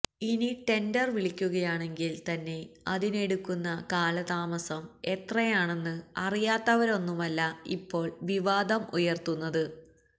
ഇനി ടെണ്ടര് വിളിക്കുകയാണെങ്കില് തന്നെ അതിനെടുക്കുന്ന കാലതാമസം എത്രയാണെന്ന് അറിയാത്തവരൊന്നുമല്ല ഇപ്പോള് വിവാദം ഉയര്ത്തുന്നത്